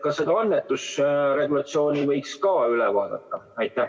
Kas seda annetusregulatsiooni võiks ka üle vaadata?